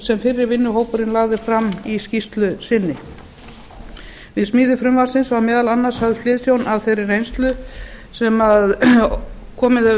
sem fyrri vinnuhópurinn lagði fram í skýrslu sinni við smíði frumvarpsins var meðal annars höfð hliðsjón af þeirri reynslu sem komið hefur